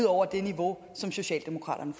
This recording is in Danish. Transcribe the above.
over det niveau som socialdemokraterne